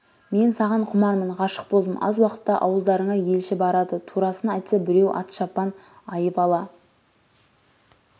мен саған құмармын ғашық болдым аз уақытта ауылдарыңа елші барады турасын айтса біреу ат-шапан айып ала